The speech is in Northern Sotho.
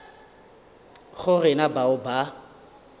go re na bao ba